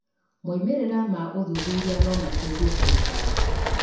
Moimĩrĩra ma ũthuthuria no mateithie thirikari